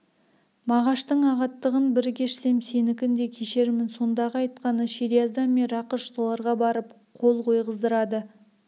мағаштың ағаттығын бір кешсем сенікін де кешермін сондағы айтқаны шериаздан мен рақыш соларға барып қол қойғыздырады